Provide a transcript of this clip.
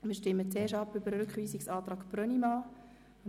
Wir stimmen zuerst über den Rückweisungsantrag Brönnimann ab.